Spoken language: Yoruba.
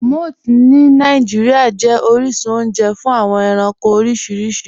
Mọ̀ths ni Nigeria jẹ̀ oríṣun ọ̀unje fún awọn ẹ̀ránkò oríṣiríṣì.